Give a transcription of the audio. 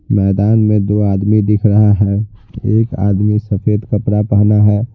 मैदान में दो आदमी दिख रहा है एक आदमी सफेद कपड़ा पहना है।